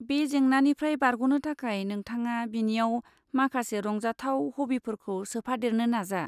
बे जेंनानिफ्राय बारग'नो थाखाय नोंथाङा बिनियाव माखासे रंजाथाव हबिफोरखौ सोफादेरनो नाजा।